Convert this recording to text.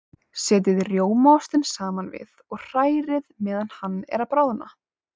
Setjið rjómaostinn saman við og hrærið meðan hann er að bráðna.